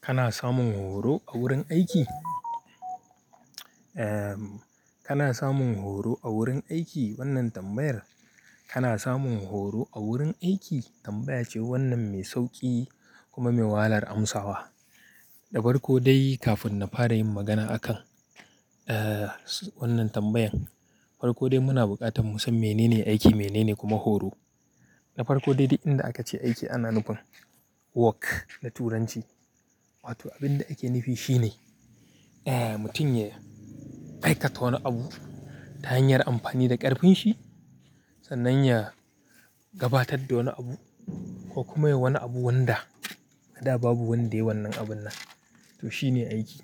Kana samun horo a wurin aiki? Kana samun horo a wurin aiki? Wannan tambayar, kana samun horo a wurin aiki? Tambaya ce wannan mai sauƙi kuma mai wahalar amsawa. Da farko dai kafin na fara yin magana akan, eh, wannan tambayan. Farkon dai muna buƙatar mu san menene aiki menene kuma horo. Na farko dai duk inda aka ce aiki ana nufin work da Turanci. Wato abin da ake nufi shi ne, eh, mutum ya aikata wani abu ta hanyar amfani da ƙarfin shi sannan ya gabatar da wani abu ko kuma yayi wani abu wanda a da babu wanda ya yi wannan abun nan. To shi ne aiki.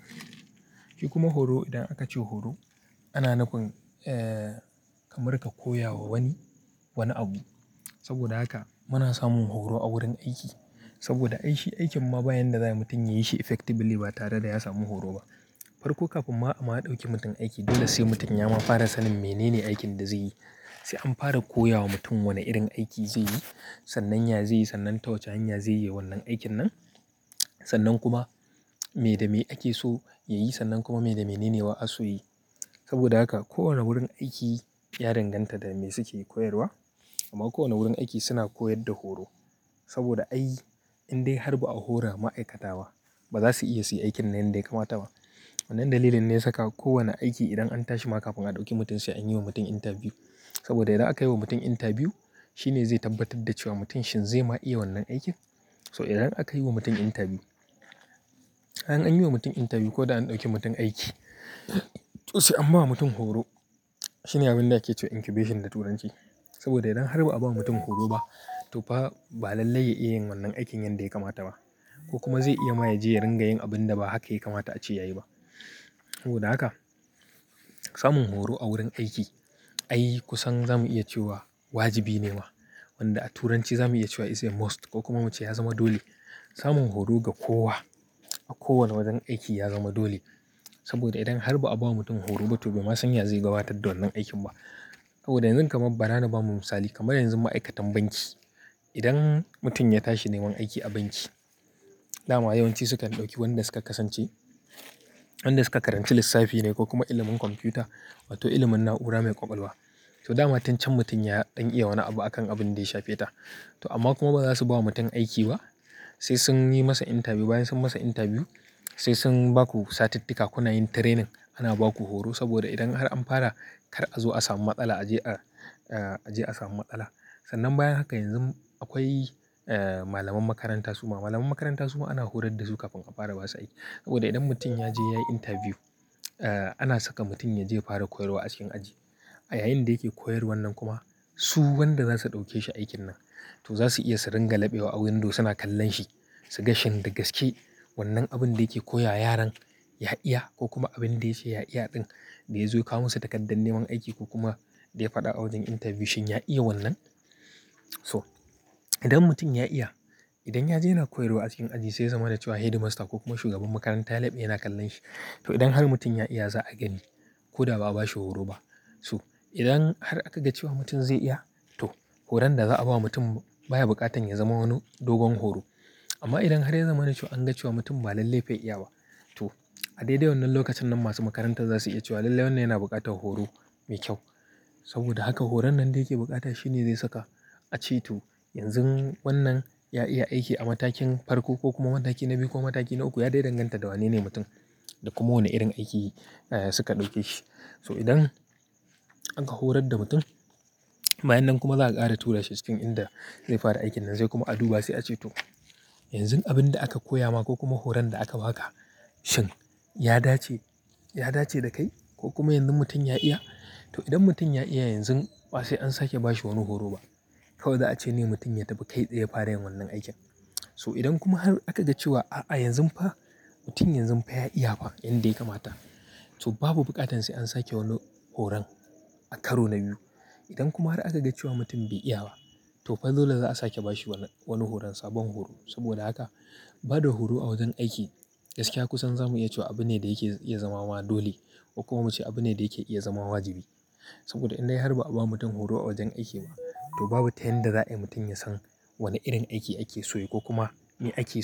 Shi kuma horo idan aka ce horo ana nufin, eh, kamar ka koya wa wani, wani abu. Saboda haka muna samun horo a wurin aiki. Saboda aiki, aikin ma bayan da za mutum ya yi shi effectively ba tare da ya samu horo ba. Farko kafin ma a ɗauki mutum aiki dole sai mutum ya ma fara sanin menene aikin da zai yi. Sai an fara koya wa mutum wane irin aiki zai yi, sannan ya zai yi, sannan ta wace hanya zai yi wannan aikin nan. Sannan kuma me da me ake so ya yi sannan kuma me da menene ba'a so yi. Saboda haka kowane wurin aiki ya danganta da me suke koyarwa. Amma kowane wurin aiki suna koyar da horo. Saboda ai indai har ba'a hora ma'aikata ba, ba za su iya su yi aikin nan yadda ya kamata ba. Wannan dalilin ne ya saka kowane aiki idan an tashi ma kafin a ɗauki mutum sai an yi wa mutum interview. Saboda idan aka yi wa mutum interview, shi ne zai tabbatar da cewa mutum shin zai ma iya wannan aikin. So idan aka yi wa mutum interview, idan an yi wa mutum interview ko da an ɗauki mutum aiki. To sai an ba mutum horo. Shine abin da ake cewa incubation da Turanci. Saboda idan har ba'a ba mutum horo ba to fa ba lallai ya iya yin wannan aikin yanda ya kamata ba. Ko kuma zai iya ma ya je ya ringa yin abun da ba haka ya kamata a ce ya yi ba. Saboda haka, samun horo a wurin aiki ai kusan zamu iya cewa wajibi ne ma. Wanda a Turanci zamu iya cewa is a must ko kuma mace ya zama dole. Samun horo ga kowa a kowane wajen aiki ya zama dole. Saboda idan har ba'a ba mutum horo ba to bai ma san ya zai gabatar da wannan aikin ba. Saboda yanzu kamar bara na ba mu misali kamar yanzu ma'aikatan banki. Idan mutum ya tashi neman aiki a banki, dama yawanci sukan ɗauki wadanda suka kasance wadanda suka karanci lissafi ne ko kuma ilimin kwamfuta wato ilimin na'ura mai ƙwaƙwalwa. To dama tun can mutum ya, ɗan iya wani abu akan abin da ya sha feta. To amma kuma ba za su ba wa mutum aiki ba. Sai sun yi masa interview, bayan sun masa interview sai sun ba ku satitika kuna yin training. Ana ba ku horo saboda idan har an fara kar a zo a samu matsala a je a, a je a samu matsala. Sannan bayan haka yanzu akwai, eh, malaman makaranta suma. Malamai makaranta suma ana horar da su kafin a fara basu aiki. Saboda idan mutum ya je yayi interview, ana saka mutum ya je ya fara koyarwa a cikin aji. A yayin da yake koyar wannan kuma su wadanda za su ɗauke shi aikin nan to za su iya su ringa labewa abin da suna kallon shi. Su gashi in da gaske wannan abin da yake koya yaran ya iya ko kuma abin da ya ce ya iya ɗin da ya zo ya kawo musu takardar neman aiki ko kuma da ya faɗa a wajen interview shin ya iya wannan. So idan mutum ya iya, idan ya je yana koyarwa a cikin aji sai ya zama da cewa headmaster ko kuma shugaban makaranta ya labe yana kallon shi. To idan har mutum ya iya za a gani ko da ba'a bashi horo ba. So idan har aka ga cewa mutum zai iya to horon da za'a ba mutum baya buƙatan ya zama wani dogon horo. Amma idan har ya zama an ga cewa mutum ba lallai bai iya ba to a daidai wannan lokacin nan masu makaranta za su iya cewa lallai wannan yana buƙatar horo mai kyau. Saboda haka horon nan da yake bukata shine zai saka a ce to yanzu wannan ya iya aiki a matakin farko ko kuma mataki na biyu ko mataki na uku ya dai danganta da wane ne mutum. Da kuma wane irin aiki, eh, suka ɗauke shi. So idan aka horar da mutum, bayan nan kuma za'a ƙara tura shi cikin inda zai fara aikin nan sai kuma a duba sai a ce to yanzun abin da aka koya ma ko kuma horon da aka ba haka shin ya dace, ya dace da kai ko kuma yanzu mutum ya iya. To idan mutum ya iya yanzu ba sai an sake bashi wani horo ba. Kawai za a ce ne mutum ya tafi kai tsaye fara yin wannan aikin. So idan kuma har aka ga cewa a a yanzun fa mutum yanzun fa ya iya ba yanda ya kamata. To babu buƙatan sai an sake wani horon a karo na biyu. Idan kuma har aka ga cewa mutum bai iya ba to fa dole za'a sake bashi wani, wani horon sabon horo. Saboda haka ba da horo a wajen aiki gaskiya kusan zamu iya cewa abu ne da yake iya zama ma dole ko kuma muce abu ne da yake iya zama wajibi. Saboda idan dai har ba'a ba mutum horo a wajen aiki ba to babu tayan da za'a yi mutum ya san wane irin aiki ake so yi ko kuma me aiki so.